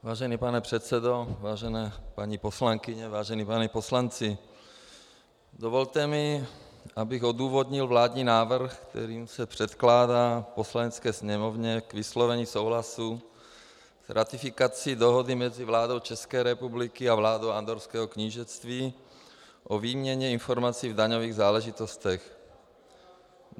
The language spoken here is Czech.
Vážený pane předsedo, vážené paní poslankyně, vážení páni poslanci, dovolte mi, abych odůvodnil vládní návrh, kterým se předkládá Poslanecké sněmovně k vyslovení souhlasu s ratifikací Dohoda mezi vládou České republiky a vládou Andorrského knížectví o výměně informací v daňových záležitostech.